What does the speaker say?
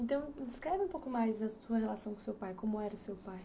Então, descreve um pouco mais a sua relação com o seu pai, como era o seu pai.